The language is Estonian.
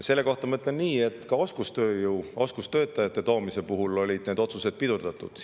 Selle kohta ma ütlen nii, et ka oskustöötajate toomist on otsused pidurdatud.